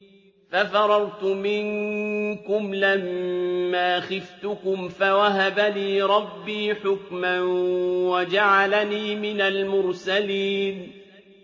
فَفَرَرْتُ مِنكُمْ لَمَّا خِفْتُكُمْ فَوَهَبَ لِي رَبِّي حُكْمًا وَجَعَلَنِي مِنَ الْمُرْسَلِينَ